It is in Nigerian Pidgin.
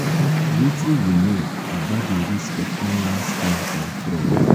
wetin you know about di risks of online scams and fraud?